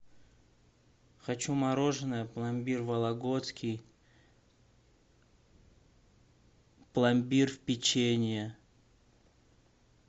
хочу мороженое пломбир вологодский пломбир в печенье